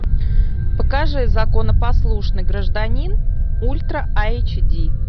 покажи законопослушный гражданин ультра айч ди